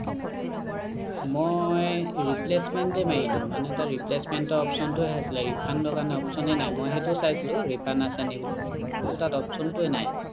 মই replacement এ মাৰিলোঁ মানে তাত replacement ৰ option টো হে আছিলে refund ৰ কাৰণে option ই নাই মই সেইটো চাইছিলোঁ refund আছে নি বুলি কিন্তু তাত option টোৱে নাই